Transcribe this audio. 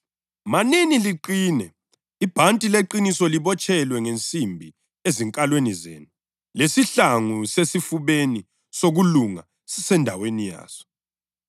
Ngakho-ke, fakani isihlangu esipheleleyo sikaNkulunkulu ukuze kuthi lapho usuku lobubi lufika libe lamandla okuma kuthi lalapho selenze konke, lime.